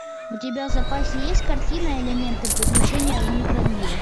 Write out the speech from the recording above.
у тебя в запасе есть картина элементы приключения в микромире